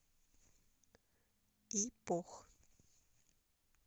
ипох